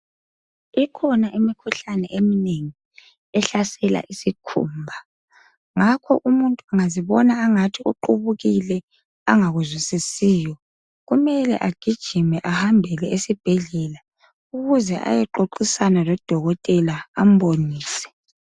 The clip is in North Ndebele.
Ikhona imikhuhlane eminengi ehlasela isikhumba ngakho umuntu engazibona angathi uqubukile angakuzwisisiyo kumele agijime ahambele esibhedlela ukuze ayexoxisana lodokotela ambonise.